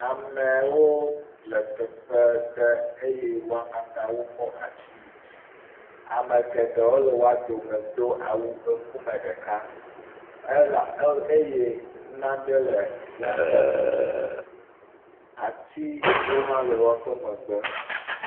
Ame aɖewo le teƒe ɖe eye wo katã wokɔ asi yi dzi. Ame geɖewo le woa dome do awu ŋkume ɖeka eye naɖe le woaƒe ŋkume. Atiwo hã le woƒe megbe.